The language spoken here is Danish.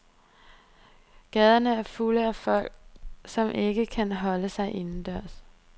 Gaderne er fulde af folk, som ikke kan holde sig indendørs.